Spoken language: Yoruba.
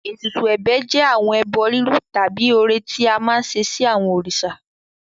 Ètùtù ẹ̀bẹ̀ jẹ́ àwọn ẹbọ rírú tàbí ọrẹ tí a máa ń ṣe sí àwọn òrìṣà.